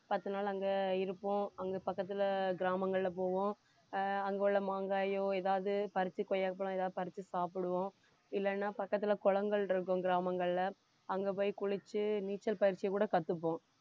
பத்து நாள் அங்க இருப்போம் அங்க பக்கத்துல கிராமங்கள்ல போவோம் ஆஹ் அங்குள்ள மாங்காயோ எதாவது பறிச்சி கொய்யாப்பழம் ஏதாவது பறிச்சு சாப்பிடுவோம் இல்லைன்னா பக்கத்துல குளங்கள் இருக்கும் கிராமங்கள்ல அங்க போய் குளிச்சு நீச்சல் பயிற்சி கூட கத்துப்போம்